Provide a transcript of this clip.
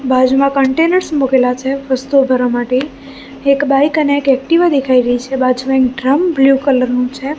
બાજુમાં કન્ટેનર્સ મુકેલા છે વસ્તુઓ ભરવા માટે એક બાઈક અને એક એક્ટિવા દેખાઈ રઇ છે બાજુમાં એક ડ્રમ બ્લુ કલર નું છે.